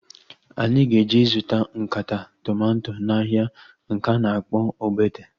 Anyị ga-eje zụta nkata tomato n'ahia nke a na-akpọ Ogbete